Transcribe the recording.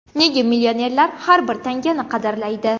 Nega millionerlar har bir tangani qadrlaydi?.